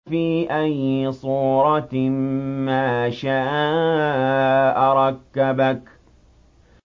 فِي أَيِّ صُورَةٍ مَّا شَاءَ رَكَّبَكَ